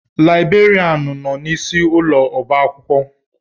Laibrerianụ nọ n'isi ụlọ ọba akwụkwọ.